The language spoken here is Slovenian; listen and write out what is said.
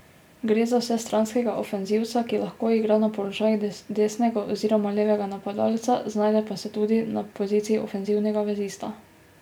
Gre za vsestranskega ofenzivca, ki lahko igra na položajih desnega oziroma levega napadalca, znajde pa se tudi na poziciji ofenzivnega vezista.